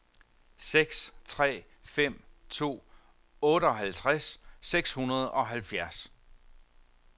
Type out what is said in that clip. seks tre fem to otteoghalvtreds seks hundrede og halvfjerds